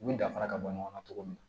U ni danfara ka bɔ ɲɔgɔn na cogo min na